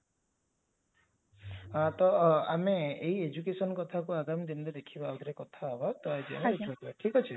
ତ ଏଇ education କଥାକୁ ଆମେ ଆଗାମୀ ଦିନରେ ଦେଖିବା ଆଉଥରେ କଥା ହେବ